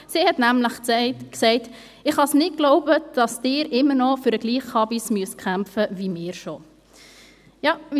Sie sagte nämlich: «Ich kann nicht glauben, dass ihr immer noch für den gleichen ‹Chabis› kämpfen müsst wie schon wir.»